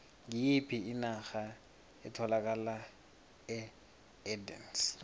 ngiyiphi inarha etholakala eardennes